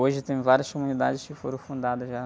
Hoje tem várias comunidades que foram fundadas já.